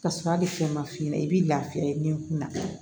Ka sɔrɔ hali fɛn ma f'i ɲɛna i bɛ lafiya den kun na